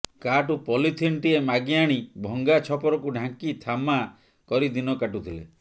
କାହାଠୁ ପଲିଥିନଟିଏ ମାଗିଆଣି ଭଙ୍ଗା ଛପରକୁ ଢାଙ୍କି ଥାମା କରି ଦିନ କାଟୁଥିଲେ